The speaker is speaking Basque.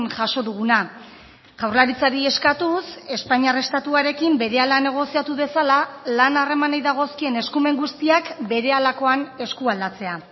jaso duguna jaurlaritzari eskatuz espainiar estatuarekin berehala negoziatu dezala lan harremanei dagozkien eskumen guztiak berehalakoan eskualdatzea